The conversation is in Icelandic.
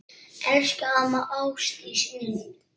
Elsku amma Ásdís mín.